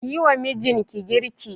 Kiyi wa mijinki girki